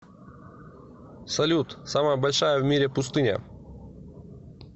салют самая большая в мире пустыня